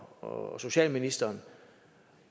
og socialministeren